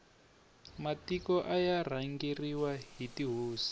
matiko aya rhangeriwa hi tihosi